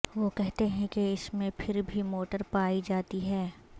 وہ کہتے ہیں کہ اس میں پھر بھی موٹر پائی جاتی ہے